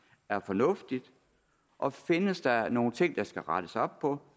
er fornuftigt og findes der nogen ting der skal rettes op på